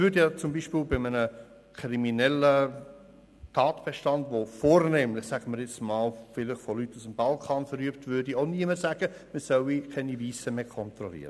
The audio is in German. Bei einem kriminellen Tatbestand, der vornehmlich zum Beispiel von Leuten aus dem Balkan verübt wird, würde auch niemand sagen, man solle keine Weissen mehr kontrollieren.